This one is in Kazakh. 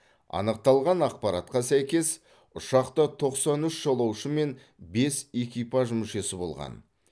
анықталған ақпаратқа сәйкес ұшақта тоқсан үш жолаушы мен бес экипаж мүшесі болған